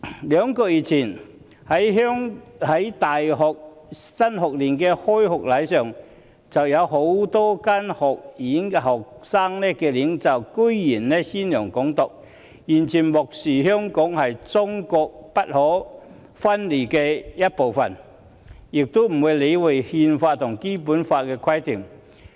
兩個月前，在大學新學年開學禮上，有多間學院的學生領袖公然宣揚"港獨"，完全漠視香港是中國不可分離的一部分，也不理會國家《憲法》和《基本法》的規定。